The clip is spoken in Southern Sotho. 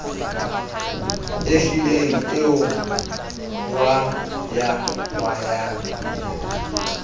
e hlileng e o hwayahwayang